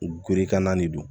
Gerekan na de don